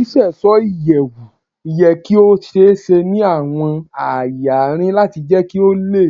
Ṣiṣeṣọ iyẹwu yẹ ki o ṣee ṣe ni awọn aaye arin lati jẹ ki o ni